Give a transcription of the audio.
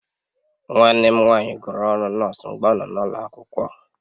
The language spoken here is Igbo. Nwanne m nwanyị gụrụ ọrụ nọọsụ mgbe ọ nọ n'ụlọ akwụkwọ